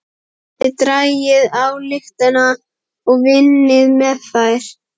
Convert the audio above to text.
Þið dragið ályktanir og vinnið með þær.